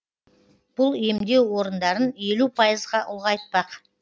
бұл емдеу орындарын елу пайызға ұлғайтпақ